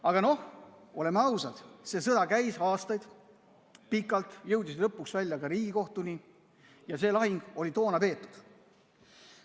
Aga noh, oleme ausad, see sõda käis pikalt, aastaid, jõudis lõpuks välja ka Riigikohtuni ja see lahing sai toona peetud.